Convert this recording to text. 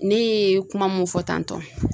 Ne ye kuma mun fɔ tan tɔ.